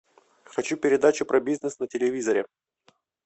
включи передачу про бизнес на телевизоре